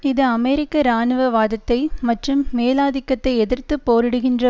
இது அமெரிக்க இராணுவ வாதத்தை மற்றும் மேலாதிக்கத்தை எதிர்த்து போரிடுகின்ற